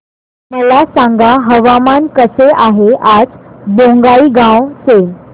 मला सांगा हवामान कसे आहे आज बोंगाईगांव चे